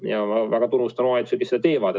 Ma väga tunnustan omavalitsusi, kes seda teevad.